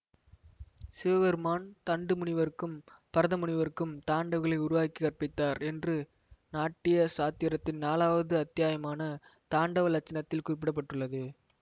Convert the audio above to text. சிவபெருமான் தண்டு முனிவருக்கும் பரத முனிவருக்கும் தாண்டவங்களை உருவாக்கி கற்பித்தார் என்று நாட்டிய சாத்திரத்தின் நாலாவது அத்தியாயமான தாண்டவலட்சணத்தில் குறிப்பிட பட்டுள்ளது